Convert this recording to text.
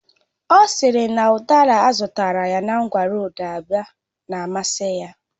Ọ sịrị na udara azụtara na ngwa roodu Aba na amasị ya